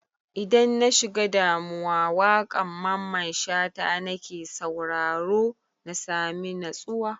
Idan na shiga damuwa, waƙan Mamman Shata na ke sauraro na sami natsuwa.